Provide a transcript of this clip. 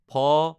ফ